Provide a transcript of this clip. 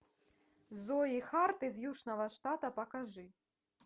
зои харт из южного штата покажи